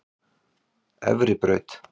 Efribraut